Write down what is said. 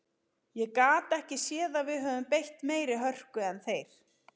Ég gat ekki séð að við höfum beitt meiri hörku en þeir.